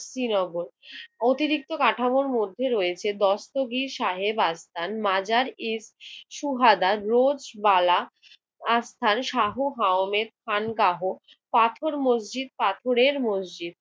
শ্রীনগর। অতিরিক্ত কাঠামোর মধ্যে রয়েছে দস্তগীর সাহেব আর স্থান মাজার ই সুহাদা, রোজ বালা আর স্থান শাহ হাওমের ফান্ডাহ, পাথর মসজিদ~ পাথরের মসজিদ